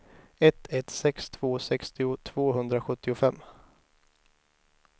ett ett sex två sextio tvåhundrasjuttiofem